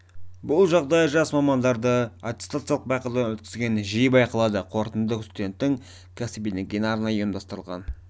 бұл жағдай жас мамандарды аттестациялық байқаудан өткізген кезде жиі байқалады қорытынды студенттің кәсіби деңгейін арнайы ұйымдастырылған